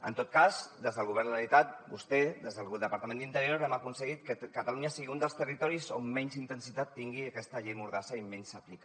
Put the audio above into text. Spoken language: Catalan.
en tot cas des del govern de la generalitat vostè des del departament d’interior hem aconseguit que catalunya sigui un dels territoris on menys intensitat tingui aquesta llei mordassa i menys s’aplica